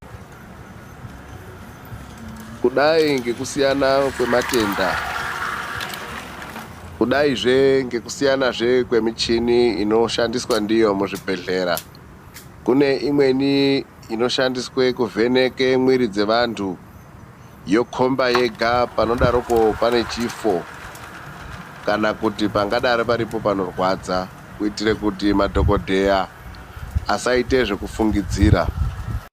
Kudai nekusiyana kwematenda kudai zvekwekusiyana kwemichini inoshandiswa ndiyo muzvibhedhlera kune imweni inoshandiswa kuvheneka mwiri dzevantu yokomba yega panodaro pane chifo kana kuti pangadaro paripo panorwadza kuitira kuti madhogodheya asaita zvekufungidzira.